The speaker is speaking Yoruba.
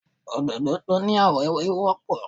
Òdòdó tó ní àwọ̀ ewé ò wọ́pọ̀.